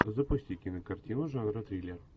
запусти кинокартину жанра триллер